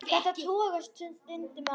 Þetta togast stundum á.